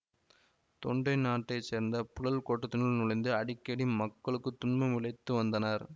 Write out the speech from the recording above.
தொண்டை நாட்டைச்சேர்ந்த புழல் கோட்டத்தினுள் நுழைந்து அடிக்கடி மக்களுக்கு துன்பம் விளைத்து வந்தனர்